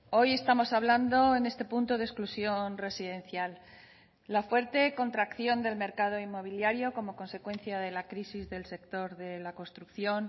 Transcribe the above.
hoy estamos hablando en este punto de exclusión residencial la fuerte contracción del mercado inmobiliario como consecuencia de la crisis del sector de la construcción